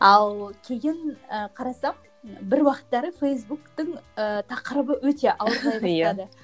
ал кейін і қарасам бір уақыттары фейсбуктың ііі тақырыбы өте ауырлай бастады иә